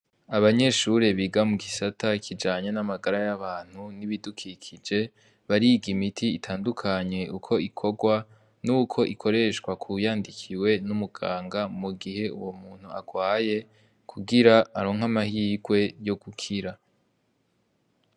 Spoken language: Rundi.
Abanyeshure biga mu gisata kijanye n'amagara y'abantu n'ibidukikije, bariga imiti itandukanye uko ikorwa n'uko ikoreshwa k'uwuyandikiwe n'umuganga mu gihe uwo muntu agwaye ,kugira aronke amahirwe yo gukira.